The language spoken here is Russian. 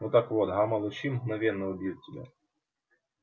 ну так вот гамма лучи мгновенно убьют тебя